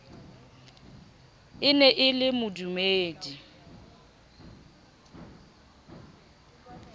e ne e le modumedi